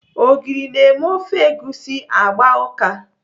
Ogiri na-eme ofe egusi agba ụka.